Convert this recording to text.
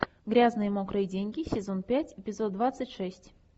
грязные мокрые деньги сезон пять эпизод двадцать шесть